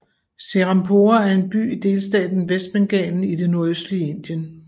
Serampore er en by i delstaten Vestbengalen i det nordøstlige Indien